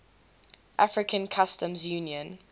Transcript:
african customs union